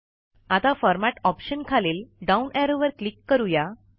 आता format option खालील down ऍरोवर क्लिक करूया